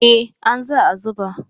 eh an za a zuba